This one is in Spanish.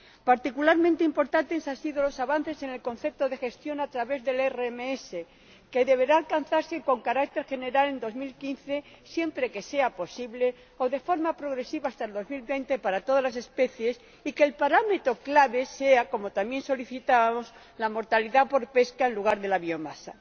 Particularmente importante han sido los avances en el concepto de gestión a través del RMS, que deberá alcanzarse con carácter general en 2015, siempre que sea posible, o de forma progresiva hasta 2020 para todas las especies, y el hecho de que el parámetro clave sea, como también solicitábamos, la mortalidad por pesca en lugar de la biomasa.